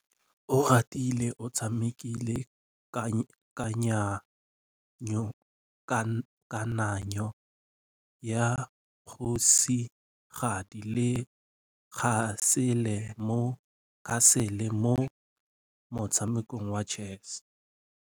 Oratile o tshamekile kananyô ya kgosigadi le khasêlê mo motshamekong wa chess.